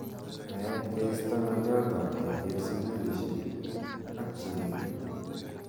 Aet ke isto ngalyot ap keker sukulishek ak che pitu.